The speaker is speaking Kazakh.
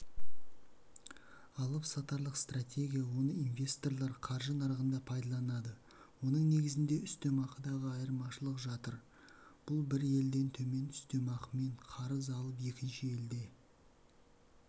алып-сатарлық стратегия оны инвесторлар қаржы нарығында пайдаланады оның негізінде үстемақыдағы айырмашылық жатыр бұл бір елден төмен үстемақымен қарыз алып екінші елде